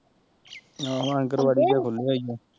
ਆਹੋ ਆਗਣਵਾੜੀ ਜਿਹਾ ਖੁੱਲਿਆ ਈ ਓ